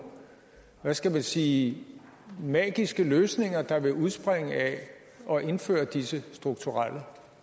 hvad skal man sige magiske løsninger der vil udspringe af at indføre disse strukturelle